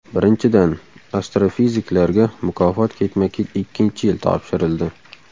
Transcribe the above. Birinchidan, astrofiziklarga mukofot ketma-ket ikkinchi yil topshirildi.